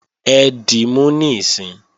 Ẹ dímú níìsín!